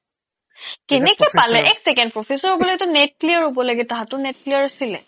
কেনেকে পালে এক ছেকেণ্ড professor হ'বলেটো NET clear লাগে তাহতৰ NET clear আছিলে